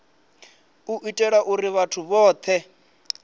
u itela uri vhathu vhothe